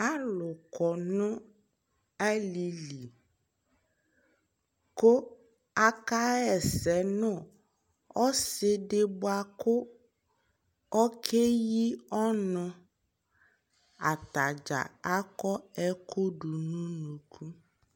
alò kɔ no alili kò aka ɣa ɛsɛ no ɔsi di boa kò oke yi ɔnu atadza akɔ ɛkò do no unuku